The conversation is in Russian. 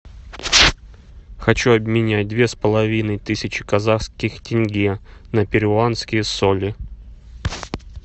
хочу обменять две с половиной тысячи казахских тенге на перуанские соли